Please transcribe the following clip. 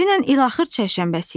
Dünən ilaxır çərşənbəsi idi.